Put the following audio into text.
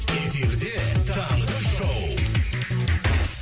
эфирде таңғы шоу